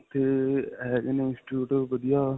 ਉੱਥੇ ਅਅ ਹੈਗੇ ਨੇ institute ਵਧੀਆ.